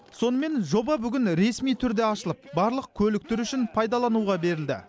сонымен жоба бүгін ресми түрде ашылып барлық көлік түрі үшін пайдалануға берілді